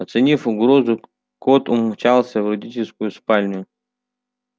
оценив угрозу кот умчался в родительскую спальню